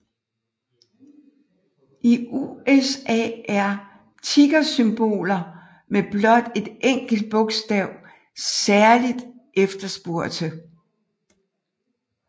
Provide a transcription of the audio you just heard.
I USA er tickersymboler med blot et enkelt bogstav særligt efterspurgte